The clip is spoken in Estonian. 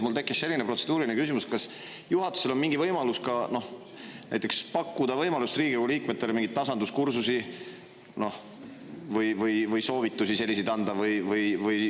Mul tekkis selline protseduuriline küsimus, et kas juhatusel on mingi võimalus pakkuda Riigikogu liikmetele mingeid tasanduskursusi või anda muid soovitusi.